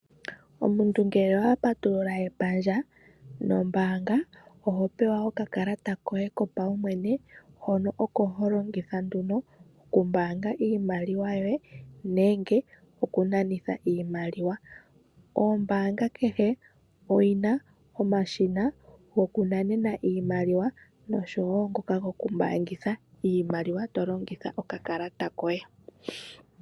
Omuntu ngele owa patulula epandja lyombaanga, oho pewa okakalata koye kopaumwene hono oko ho longitha nduno okumbaanga iimaliwa yoye nenge oku nanitha iimaliwa. Ombaanga kehe oyina omashina goku nanena iimaliwa oshowo ngoka goku mbaangitha to longitha okakalata koye.